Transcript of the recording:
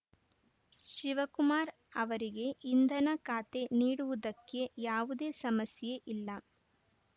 ಶಿವಕುಮಾರ್‌ ಅವರಿಗೆ ಇಂಧನ ಖಾತೆ ನೀಡುವುದಕ್ಕೆ ಯಾವುದೇ ಸಮಸ್ಯೆ ಇಲ್ಲ